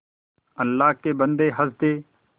अल्लाह के बन्दे हंस दे